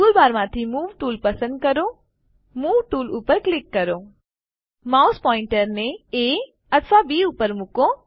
ટૂલબારમાંથી move tool પસંદ કરો મૂવ ટૂલ પર ક્લિક કરો માઉસ પોઇન્ટરને એ અથવા બી ઉપર મુકો